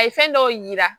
A ye fɛn dɔw yira